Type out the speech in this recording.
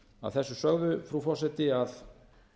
að þessu sögðu frú forseti að